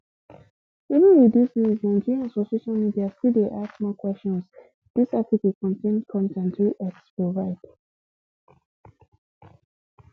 even wit dis news nigerians for social media still dey ask more kwesions dis article contain con ten t wey x provide